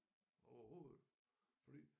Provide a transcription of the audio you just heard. Overhovedet fordi